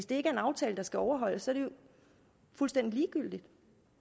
det er en aftale der skal overholdes er det jo fuldstændig ligegyldigt